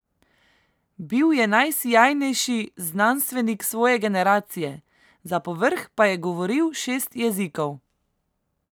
Bil je najsijajnejši znanstvenik svoje generacije, za povrh pa je govoril šest jezikov.